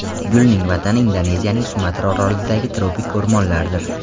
Gulning vatani Indoneziyaning Sumatra orolidagi tropik o‘rmonlardir.